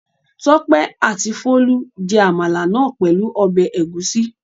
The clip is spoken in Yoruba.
Tọ́pẹ́ àti Folú jẹ àmàlà náà pẹ̀lú ọbẹ̀ ẹ̀gúsí.